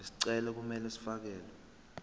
izicelo kumele zifakelwe